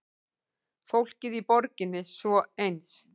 Fólkið í borginni svo eins.